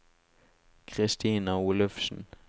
Kristina Olufsen